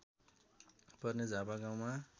पर्ने झापा गाउँमा